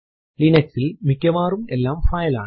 Linux ൽ മിക്കവാറും എല്ലാം ഫയൽ ആണ്